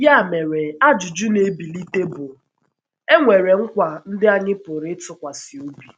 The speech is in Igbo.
Ya mere ajụjụ na - ebilite bụ: È nwere nkwa ndị anyị pụrụ ịtụkwasị obi?